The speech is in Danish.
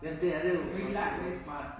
Men det er det jo i forhold til vej